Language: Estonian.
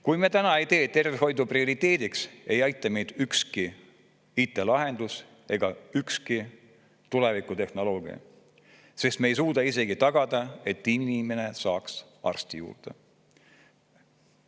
Kui me täna ei see tervishoidu prioriteediks, ei aita meid ükski IT-lahendus ega ükski tulevikutehnoloogia, sest me ei suuda isegi tagada, et inimene saaks arsti juurde.